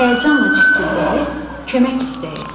Həyəcanla cikkildəyir, kömək istəyirdi.